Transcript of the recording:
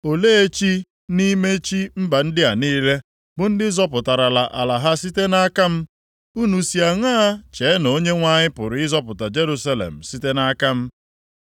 Olee chi nʼime chi mba ndị a niile, bụ ndị zọpụtarala ala ha site nʼaka m? Unu si aṅaa chee na Onyenwe anyị pụrụ ịzọpụta Jerusalem site nʼaka m?”